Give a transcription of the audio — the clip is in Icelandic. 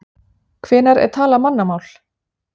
Hvenær er talað mannamál?